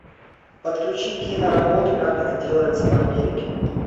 подключи киноработу как это делается в америке